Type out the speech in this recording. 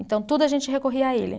Então, tudo a gente recorria a ele.